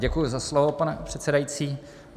Děkuji za slovo, pane předsedající.